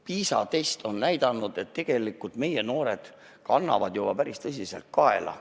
PISA test on näidanud, et meie noored kannavad juba päris tõsiselt kaela.